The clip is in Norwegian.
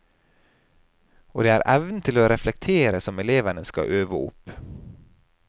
Og det er evnen til å reflektere som elevene skal øve opp.